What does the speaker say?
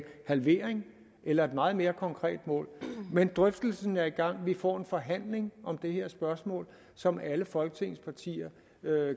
halvering eller et meget mere konkret mål men drøftelsen er i gang vi får en forhandling om det her spørgsmål som alle folketingets partier